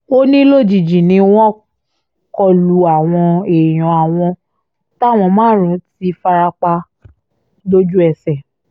ó ní lójijì ni wọ́n kọ lu àwọn èèyàn àwọn táwọn márùn-ún ti fara pa lójú ẹsẹ̀